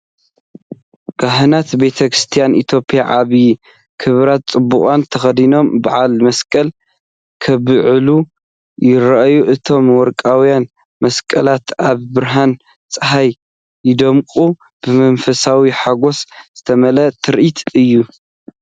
ካህናት ቤተ ክርስቲያን ኢትዮጵያ ዓቢ ክብርን ጽባቐን ተኸዲኖም በዓል መስቀል ከብዕሉ ይረኣዩ። እቶም ወርቃውያን መስቀላት ኣብ ብርሃን ጸሓይ ይደምቁ፤ ብመንፈሳዊ ሓጐስ ዝተመልአ ትርኢት እዩ።